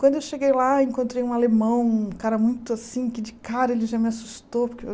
Quando eu cheguei lá, encontrei um alemão, um cara muito assim, que de cara ele já me assustou. Porque eu